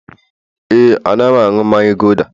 ee, Anaghị m aṅụ mmanya gulder